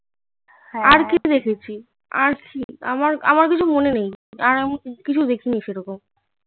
আমার কিছু মনে নেই আর আমি কিছু দেখিনি সেরকম